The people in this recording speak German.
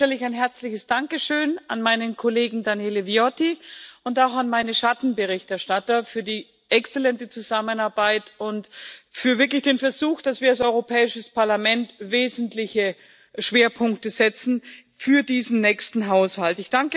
An den Anfang stelle ich ein herzliches Dankeschön an meinen Kollegen Daniele Viotti und auch an meine Schattenberichterstatter für die exzellente Zusammenarbeit und für wirklich den Versuch, dass wir als Europäisches Parlament wesentliche Schwerpunkte setzen für diesen nächsten Haushalt.